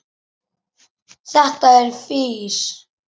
Þetta er fis.